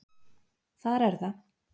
Þar er það.